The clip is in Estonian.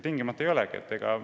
Tingimata ei olegi!